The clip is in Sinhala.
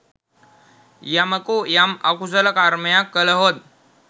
යමකු යම් අකුසල කර්මයක් කළහොත්